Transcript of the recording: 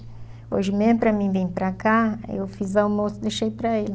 Hoje mesmo para mim vir para cá, eu fiz almoço e deixei para ele.